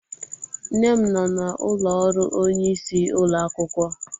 Nne m nọ n'ụlọ ọrụ onyeisi ụlọ akwụkwọ.